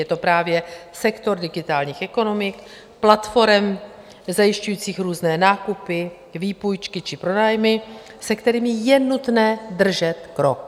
Je to právě sektor digitálních ekonomik, platforem zajišťujících různé nákupy, výpůjčky či pronájmy, se kterými je nutné držet krok.